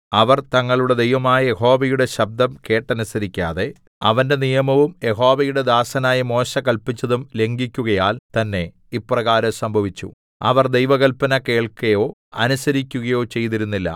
അവർ തങ്ങളുടെ ദൈവമായ യഹോവയുടെ ശബ്ദം കേട്ടനുസരിക്കാതെ അവന്റെ നിയമവും യഹോവയുടെ ദാസനായ മോശെ കല്പിച്ചതും ലംഘിക്കുകയാൽ തന്നേ ഇപ്രകാരം സംഭവിച്ചു അവർ ദൈവകൽപ്പന കേൾക്കയോ അനുസരിക്കയോ ചെയ്തിരുന്നില്ല